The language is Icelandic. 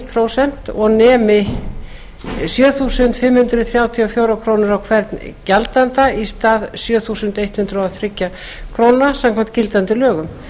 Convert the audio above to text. prósent og nemi sjö þúsund fimm hundruð þrjátíu og fjórar krónur á hvern gjaldanda í stað sjö þúsund hundrað og þrjár krónur samkvæmt gildandi lögum